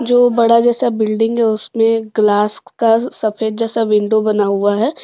दो बड़ा जैसा बिल्डिंग है उसमें ग्लास का सफेद जैसा विंडो बना हुआ है।